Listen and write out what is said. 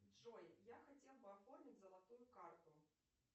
джой я хотел бы оформить золотую карту